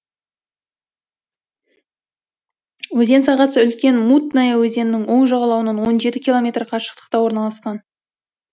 өзен сағасы үлкен мутная өзенінің оң жағалауынан он жеті километр қашықтықта орналасқан